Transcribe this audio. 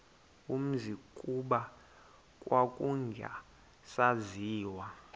umzi kuba kwakungasaziwa